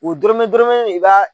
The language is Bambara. O dɔrɔmɛ dɔrɔmɛ i b'a